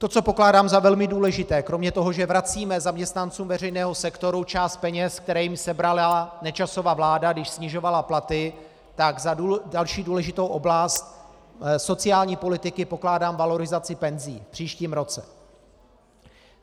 To, co pokládám za velmi důležité kromě toho, že vracíme zaměstnancům veřejného sektoru část peněz, které jim sebrala Nečasova vláda, když snižovala platy, tak za další důležitou oblast sociální politiky pokládám valorizaci penzí v příštím roce.